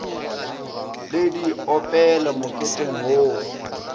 le di opele moketeng wo